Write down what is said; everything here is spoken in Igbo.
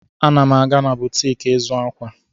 Ana m aga na butik ịzụ akwa.